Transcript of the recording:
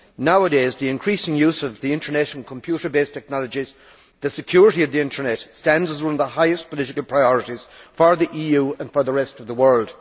Nowadays, with the increasing use of the internet and computer based technologies, the security of the internet stands as one of the highest political priorities for the EU and for the rest of the world.